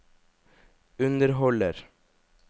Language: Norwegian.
underholder